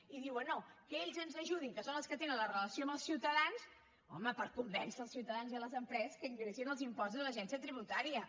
i diuen no que ells ens ajudin que són els que tenen la relació amb els ciutadans home per convèncer els ciutadans i les empreses que ingressin els impostos a l’agència tributària